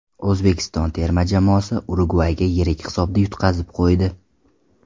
O‘zbekiston terma jamoasi Urugvayga yirik hisobda yutqazib qo‘ydi .